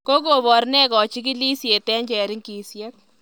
Kokobar ne kachigilishet eng cheringisyet?